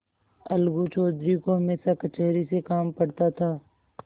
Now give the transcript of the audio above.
अलगू चौधरी को हमेशा कचहरी से काम पड़ता था